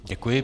Děkuji.